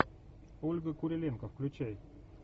ольга куриленко включай